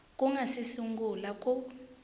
ku nga si sungula ku